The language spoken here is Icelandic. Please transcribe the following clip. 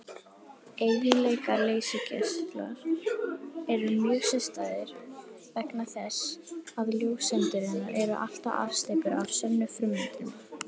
Eiginleikar leysigeisla eru mjög sérstæðir vegna þess að ljóseindirnar eru allar afsteypur af sömu frummyndinni.